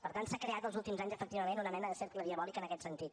per tant s’ha creat els últims anys efectivament una mena de cercle diabòlic en aquest sentit